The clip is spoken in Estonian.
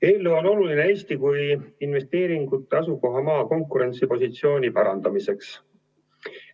Eelnõu on oluline Eesti kui investeeringute asukohamaa konkurentsipositsiooni parandamiseks.